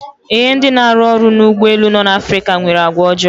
Ee, ndị na-arụ ọrụ n'ụgbọ elu no n'Afrika nwere àgwàọjọọ.